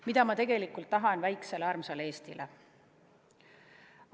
Mida ma tegelikult tahan väikesele armsale Eestile?